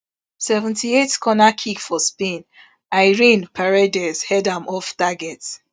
seventy-eight corner kick for spain irene paredes head am off target